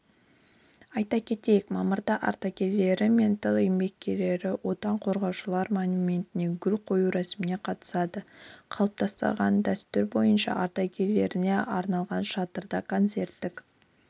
айта кетейік мамырда ардагерлері мен тыл еңбеккерлері отан қорғаушылар монументіне гүл қою рәсіміне қатысады қалыптасқан дәстүр бойынша ардагерлеріне арналған шатырда концерттік